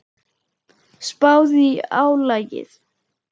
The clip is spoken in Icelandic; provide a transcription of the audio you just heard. Spáðu í álagið.